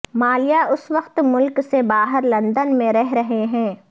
مالیا اس وقت ملک سے باہر لندن میں رہ رہے ہیں